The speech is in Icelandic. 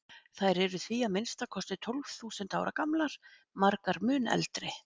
Þær eru því að minnsta kosti tólf þúsund ára gamlar, margar mun eldri.